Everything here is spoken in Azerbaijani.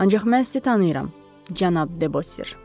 “Ancaq mən sizi tanıyıram, cənab Debosir.”